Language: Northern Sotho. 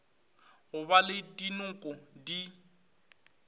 go ba le dinoko di